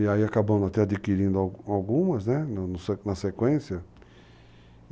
E aí acabamos até adquirindo algumas, né? na sequência.